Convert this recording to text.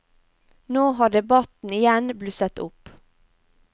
Nå har debatten igjen blusset opp.